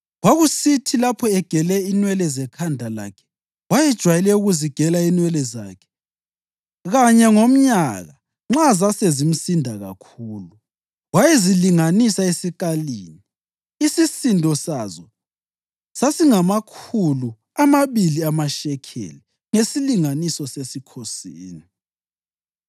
Kwakusithi lapho egele inwele zekhanda lakhe wayejwayele ukuzigela inwele zakhe kanye ngomnyaka nxa zasezimsinda kakhulu, wayezilinganisa esikalini, isisindo sazo sasingamakhulu amabili amashekeli ngesilinganiso sesikhosini.